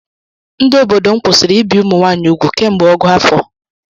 Ndị obodo m kwụsịrị ibi ụmụnwaanyị ugwu kemgbe ọgụ afọ